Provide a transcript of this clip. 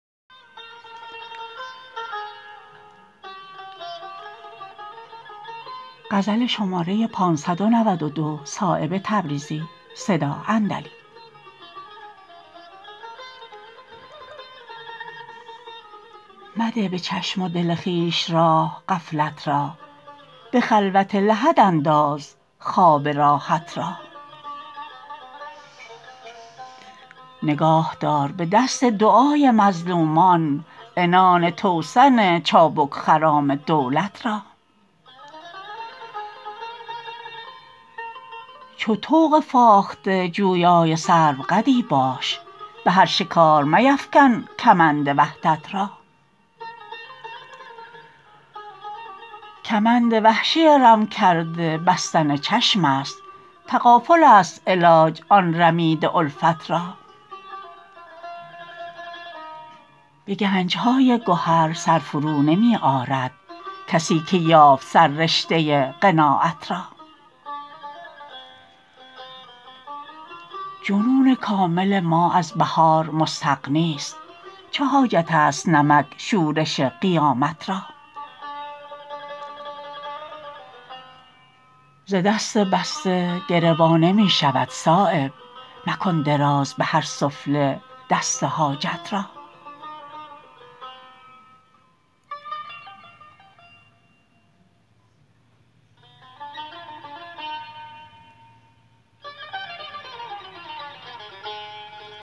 مده به چشم و دل خویش راه غفلت را به خلوت لحدانداز خواب راحت را نگاه دار به دست دعای مظلومان عنان توسن چابک خرام دولت را چو طوق فاخته جویای سرو قدی باش به هر شکار میفکن کمند وحدت را کمند وحشی رم کرده بستن چشم است تغافل است علاج آن رمیده الفت را به گنج های گهر سرفرو نمی آرد کی که یافت سر رشته قناعت را جنون کامل ما از بهار مستغنی است چه حاجت است نمک شورش قیامت را ز دست بسته گره وا نمی شود صایب مکن دراز به هر سفله دست حاجت را